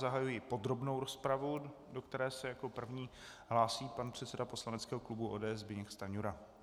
Zahajuji podrobnou rozpravu, do které se jako první hlásí pan předseda poslaneckého klubu ODS Zbyněk Stanjura.